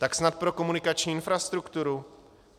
Tak snad pro komunikační infrastrukturu?